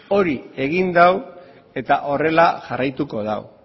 hori egin du eta horrela jarraituko du